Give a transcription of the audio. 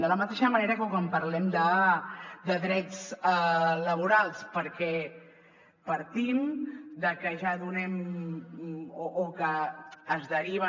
de la mateixa manera que quan parlem de drets laborals perquè partim de que ja donem o que es deriva